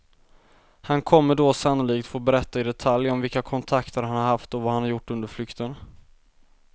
Han kommer då sannolikt få berätta i detalj om vilka kontakter han har haft och vad han har gjort under flykten.